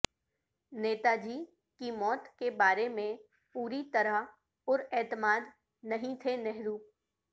نیتا جی کی موت کے بارے میں پوری طرح پراعتماد نہیں تھے نہرو